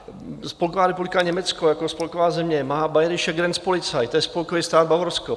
Spolková republika Německo jako spolková země má Bayerische Grenzpolizei, to je spolkový stát Bavorsko.